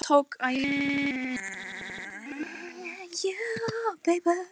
Gunni tók gjallarhornið af Kobba.